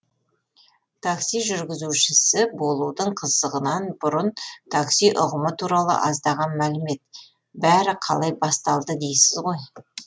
такси жүргізушісі болудың қызығынан бұрын такси ұғымы туралы аздаған мәлімет бәрі қалай басталды дейсіз ғой